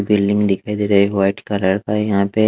building दिखाई दे रहा है व्हाईट कलर का यहाँ पे--